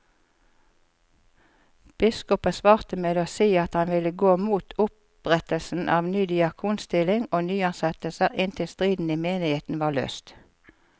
Biskopen svarte med å si at han ville gå mot opprettelse av ny diakonstilling og nyansettelser inntil striden i menigheten var løst.